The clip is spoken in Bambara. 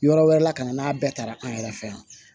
Yɔrɔ wɛrɛ la ka na n'a bɛɛ taara an yɛrɛ fɛ yan